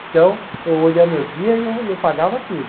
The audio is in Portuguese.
Então, hoje é meu dia e eu e eu pagava tudo.